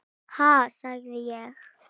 Ha, sagði ég.